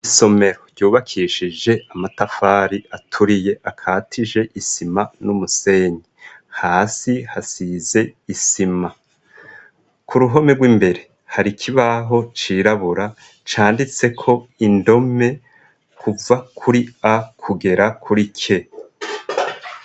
Isomero ryubakishije amatafari aturiye akatije isima n'umusenyi, hasi hasize isima. Ku ruhome rw'imbere hari ikibaho cirabura canditseko indome kuva kuri a kugera kuri k.